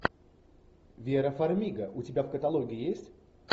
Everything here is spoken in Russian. вера фармига у тебя в каталоге есть